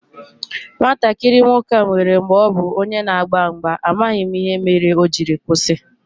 Nwatakịrị nwoke a nwèrè mgbè ọ bu onye n'agba mgba, amaghị m ihe mere o jiri kwụsị